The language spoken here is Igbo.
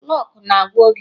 Kloọk na-agwa oge.